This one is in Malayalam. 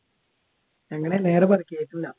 എങ്ങനെ നേരെ പറയ്യ് കേൾക്കുല്ല